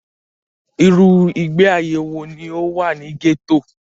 Irú ìgbé ayé wọ ní o wà ní gẹ́tò?